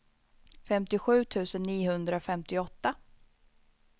femtiosju tusen niohundrafemtioåtta